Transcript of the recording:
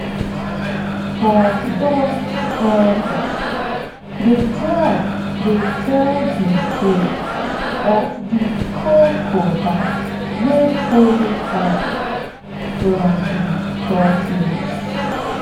for dusk elders dey tell tell de tale of de crocodile wey borrow fire from de tortoise